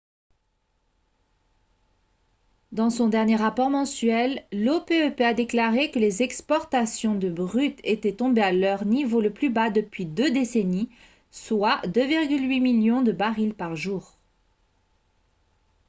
dans son dernier rapport mensuel l'opep a déclaré que les exportations de brut étaient tombées à leur niveau le plus bas depuis deux décennies soit 2,8 millions de barils par jour